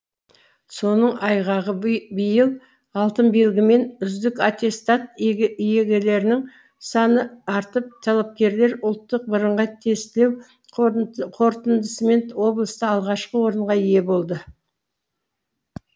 соның айғағы биыл алтын белгі мен үздік аттестат иегерлерінің саны артып талапкерлер ұлттық бірыңғай тестілеу қорытындысымен облыста алғашқы орынға ие болды